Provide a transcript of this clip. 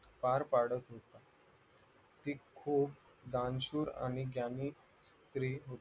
पार पाडत होता ती खूपच दानशूर आणि ज्ञानी स्री होती